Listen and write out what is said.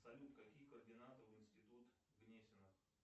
салют какие координаты в институт гнесина